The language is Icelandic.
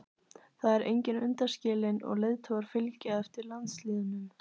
Þar er enginn undanskilinn og leiðtogar fylgja eftir landslýðnum.